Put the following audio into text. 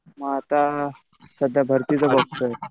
मग आता सध्या भरतीचं बघतोय.